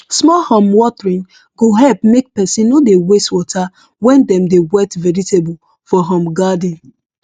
small um watering go help make person no dey waste water when dem dey wet vegetable for um garden